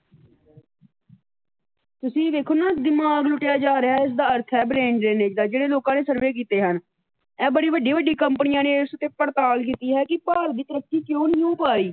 ਤੇ ਤੁਸੀ ਵੀ ਵੇਖੋ ਨਾ ਦਿਮਾਗ ਲੁੱਟਿਆ ਜਾ ਰਿਹਾ ਇਸ ਦਾ ਅਰਥ ਹੈ ਬਰੇਨ ਡਰੇੇਨਜ ਦਾ ਜਿਹੜੇ ਲੋਕਾਂ ਨੇ ਸਰਵੇ ਕੀਤੇ ਹਨ। ਇਹ ਬੜੀ ਵੱਡੀ ਵੱਡੀ ਕੰਪਨੀਆਂ ਨੇ ਇਸ ਉੱਤੇ ਪੜਤਾਲ ਕੀਤੀ ਹੈ ਕਿ ਭਾਰਤ ਦੀ ਤਰੱਕੀ ਕਿਉ ਨਹੀ ਹੋ ਪਾਈ।